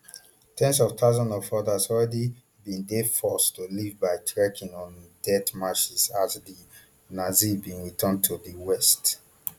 ten s of thousands of odas already bin dey forced to leave by trecking on death marches as di nazis bin return to di west